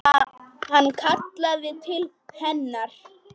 Hann kallaði til hennar.